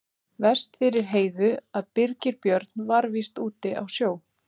Verst fyrir Heiðu að Birgir Björn var víst úti á sjó.